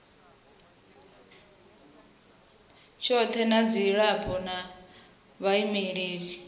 tshothe na vhadzulapo na vhaimeleli